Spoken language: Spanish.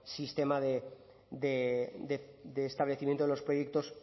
sistema de establecimiento de los proyectos